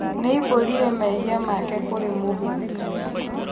Niaumbũrire mehia make kũrĩ mũhũnjia